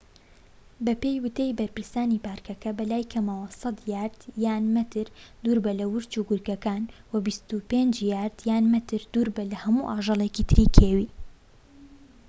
بەپێی وتەی بەرپرسانی پاركەکە، بەلای کەمەوە ١٠٠ یاردە/مەتر دووربە لە ورچ و گورگەکان و ٢٥ یاردە/مەتر دووربە لە هەموو ئاژەڵێکی تری کێوی!